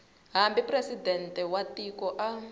hambi presidente wa tiko a